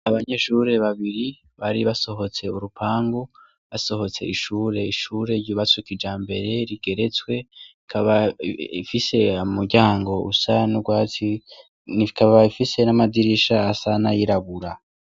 Abanyeshuri babiri bari basohotse urupangu basohotse ishuri, Ishuri ryubatse kijambere rigeretswe ikaba ifise umuryango usa n'urwatsi ikaba ifise n'amadirisha asa n'ayirabura.